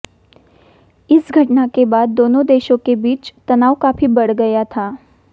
इस घटना के बाद दोनों देशों के बीच तनाव काफी बढ़ गया था